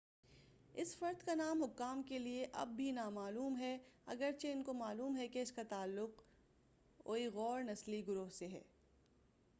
اس فرد کا نام حکام کے لئے اب بھی نا معلوم ہے اگرچہ ان کو معلوم ہے کہ اس کا تعلق اوئیغور نسلی گروہ سے ہے